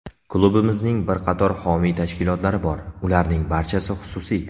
Klubimizning bir qator homiy tashkilotlari bor, ularning barchasi xususiy.